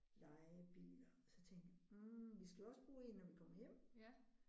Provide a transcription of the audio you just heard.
Lejebiler og så tænkte hm vi skal jo også bruge en når vi kommer hjem